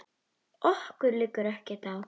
Okkur liggur ekkert á